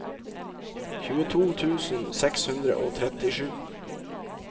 tjueto tusen seks hundre og trettisju